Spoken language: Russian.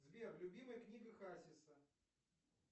сбер любимая книга хасиса